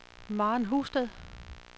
Maren Husted